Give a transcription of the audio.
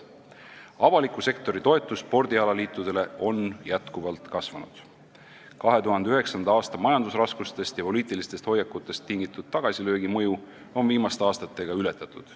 Avaliku sektori toetus spordialaliitudele on tõesti jätkuvalt kasvanud ning 2009. aasta majandusraskustest ja poliitilistest hoiakutest tingitud tagasilöögi mõju on viimaste aastatega ületatud.